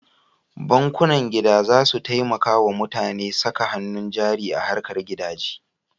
Bankunan gida za su taimaka wa mutane saka hannu jari a harkar gidaje.